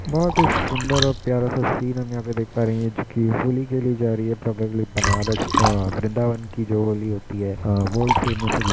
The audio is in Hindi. बोहोत ही सुन्दर और प्यारा सा सीन हम यहाँ पे देख पा रहे हैं जो कि होली खेली जा रही है प्रोबेबली बनारस अ वृंदावन की जो होली होती है अ वर्ल्ड फेमस --